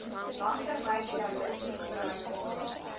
langtermyn realisties bereikbare